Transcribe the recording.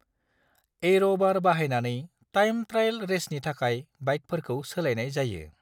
Air' बार बाहायनानै time trial रेसनि थाखाय बाइकफोरखौ सोलायनाय जायो।